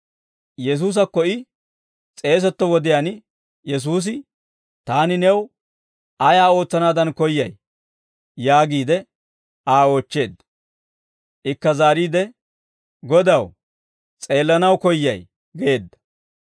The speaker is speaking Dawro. Yesuusakko I s'eetuwaa wodiyaan, Yesuusi, «Taani new ayaa ootsanaadan koyyay?» yaagiide Aa oochcheedda. Ikka zaariide, «Godaw, s'eellanaw koyyay» geedda.